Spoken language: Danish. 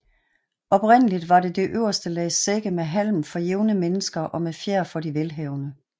Oprindeligt var det øverste lag sække med halm for jævne mennesker og med fjer for de velhavende